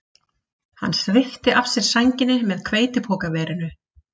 Hann svipti af sér sænginni með hveitipokaverinu